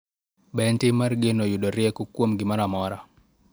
Be en tim mar geno yudo rieko kuom gimoro amora